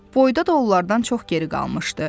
Boyda da onlardan çox geri qalmışdı.